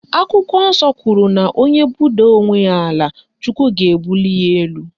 Akwụkwọ nsọ kwuru na onye budaa onwe ya ala Chukwu ga-ebuli ya elu